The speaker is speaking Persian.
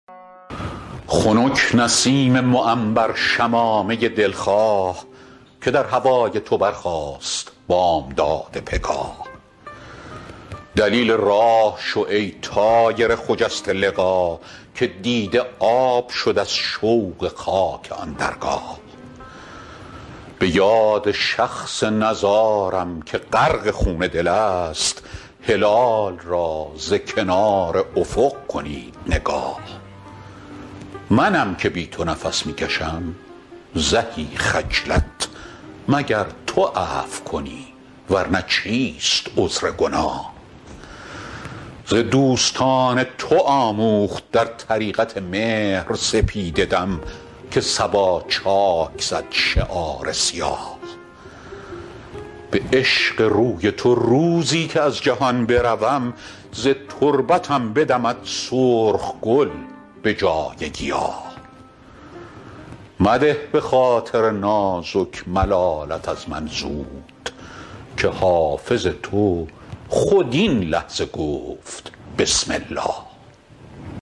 خنک نسیم معنبر شمامه ای دل خواه که در هوای تو برخاست بامداد پگاه دلیل راه شو ای طایر خجسته لقا که دیده آب شد از شوق خاک آن درگاه به یاد شخص نزارم که غرق خون دل است هلال را ز کنار افق کنید نگاه منم که بی تو نفس می کشم زهی خجلت مگر تو عفو کنی ور نه چیست عذر گناه ز دوستان تو آموخت در طریقت مهر سپیده دم که صبا چاک زد شعار سیاه به عشق روی تو روزی که از جهان بروم ز تربتم بدمد سرخ گل به جای گیاه مده به خاطر نازک ملالت از من زود که حافظ تو خود این لحظه گفت بسم الله